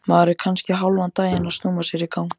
Maður er kannski hálfan daginn að snúa sér í gang.